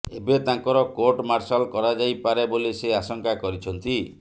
ଏବେ ତାଙ୍କର court martial କରାଯାଇପାରେ ବୋଲି ସେ ଆଶଙ୍କା କରିଛନ୍ତି